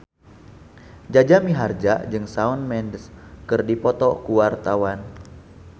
Jaja Mihardja jeung Shawn Mendes keur dipoto ku wartawan